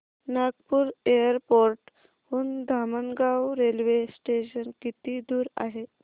Nagpur airport हून Dhamangaon railway station किती दूर आहे